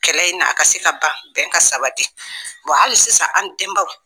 Kɛlɛ in na a ka se ka ban bɛn ka sabati hali sisan an denbaaw